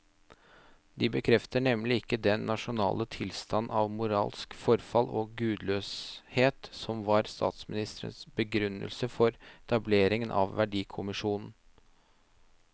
De bekrefter nemlig ikke den nasjonale tilstand av moralsk forfall og gudløshet som var statsministerens begrunnelse for etableringen av verdikommisjonen.